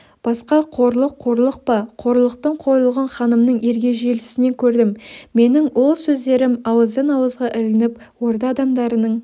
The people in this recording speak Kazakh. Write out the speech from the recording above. басқа қорлық қорлық па қорлықтың қорлығын ханымның ергежейлісінен көрдім менің ол сөздерім ауыздан-ауызға ілініп орда адамдарының